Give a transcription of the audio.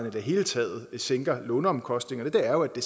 i det hele taget sænker låneomkostningerne er at det